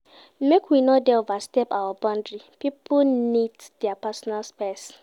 Make we no dey overstep our boundary pipo need their personal space.